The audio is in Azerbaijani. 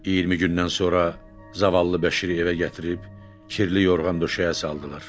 20 gündən sonra zavallı Bəşiri evə gətirib kirli yorğan döşəyə saldılar.